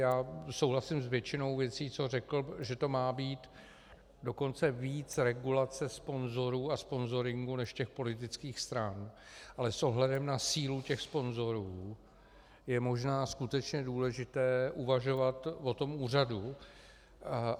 Já souhlasím s většinou věcí, co řekl, že to má být dokonce víc regulace sponzorů a sponzoringu než těch politických stran, ale s ohledem na sílu těch sponzorů je možná skutečně důležité uvažovat o tom úřadu.